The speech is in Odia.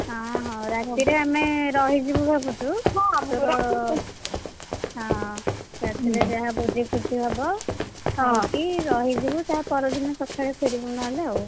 ଆଁ ହଁ ରାତିରେ ଆମେ ରହିଯିବୁ ଭାବୁଛୁ। ହଁ, ହଁ ରାତିରେଯାହା ଭୋଜି ଫୋଜି ହବ, ଖାଇକି ରହିଯିବୁ ତା ପରଦିନ ସକାଳୁ ଫେରିବୁ ନହେଲେ ଆଉ।